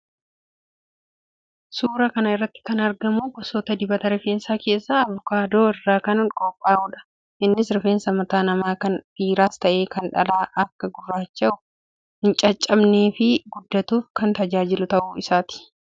Suuraa kana irratti kan argamu gosoota dibata rifeensa keessaa Avukaadoo irraa kan qophaa'uudha. Innis rifeensi mataa namaa kan dhiiraas ta'e kan dhalaa akka gurraacha'uu, hin caccabnee fi guddatuuf kan tajaajiluu ta'uu isaati.